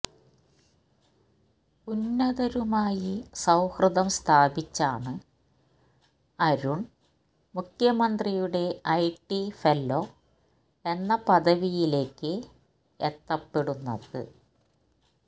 ഉന്നതരുമായി സൌഹൃദം സ്ഥാപിച്ചാണ് അരുണ് മുഖ്യമന്ത്രിയുടെ ഐടി ഫെല്ലോ എന്ന പദവിയിലേക്ക് എത്തപ്പെടുന്നത്